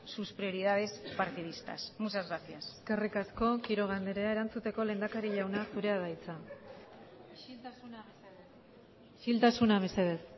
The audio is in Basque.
sus prioridades partidistas muchas gracias eskerrik asko quiroga andrea erantzuteko lehendakari jauna zurea da hitza isiltasuna mesedez